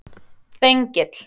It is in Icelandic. Þengill